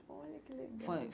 Olha que legal. Foi